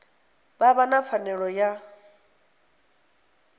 vha vha na pfanelo ya